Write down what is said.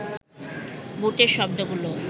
বুটের শব্দগুলো